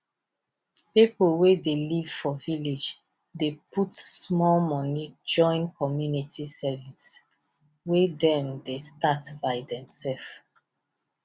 people wey dey live for village dey put small money join community savings wey dem start by demself